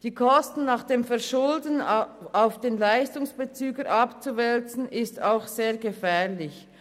Die Kosten nach dem Verschulden auf den Leistungsbezüger abzuwälzen, ist auch sehr gefährlich.